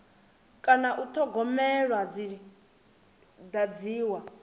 kana u thogomelwa dzi dadziwa